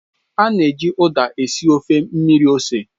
A na-eji Uda esi ofe mmiri ose